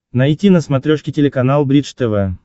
найти на смотрешке телеканал бридж тв